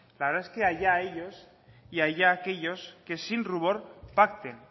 la verdad es que allá ellos y allá aquellos que sin rubor pacten